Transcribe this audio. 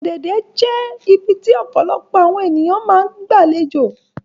Ọ̀dẹ̀dẹ̀ jẹ ibiti ọpọlọpọ awọn eniyan ti maa ńgba alejo